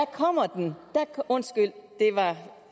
kommer den undskyld det var